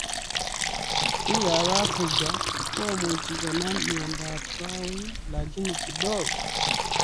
Piik ap africa komuch konam miondap kawek lakini kidogo